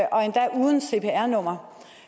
og endda uden cpr nummer